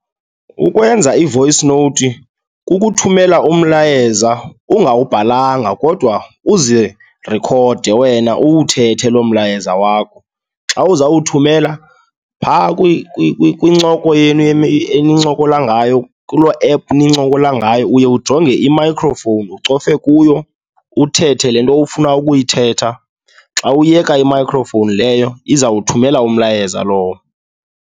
Ukwenza i-voice note kukuthumela umlayeza ungawubhalanga kodwa uzirekhode wena uwuthethe loo mlayeza wakho. Xa uzawuthumela phaa kwincoko yenu enincokola ngayo kuloo app nincokola ngayo, uye ujonge i-microphone ucofe kuyo, uthethe le nto ufuna ukuyithetha. Xa uyeka i-microphone leyo izawuthumela umlayezo lowo.